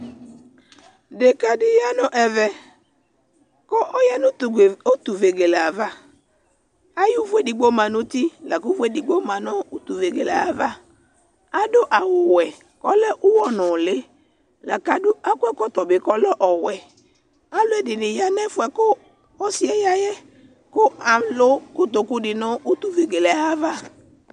deka di ya no ɛvɛ ko ɔya no utu vegelebava ayi òvò edigbo ma no uti lako òvò edigbo ma no utu vegele ayava ado awu wɛ ko ɔlɛ uwɔ nòli lako ado akɔ ɛkɔtɔ bi ko ɔlɛ ɔwɛ aloɛdi ni ya no ɛfoɛ ko ɔsiɛ ya yɛ ko alo kotoku di no utu vegele ayava